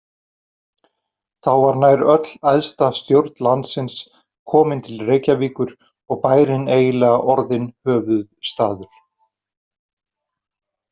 Þá var nær öll æðsta stjórn landsins komin til Reykjavíkur og bærinn eiginlega orðinn höfuðstaður.